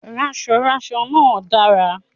Ránsoránso náà dára